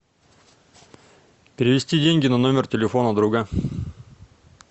перевести деньги на номер телефона друга